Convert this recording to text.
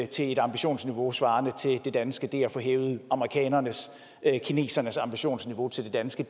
til et ambitionsniveau svarende til det danske det at få hævet amerikanernes kinesernes ambitionsniveau til det danske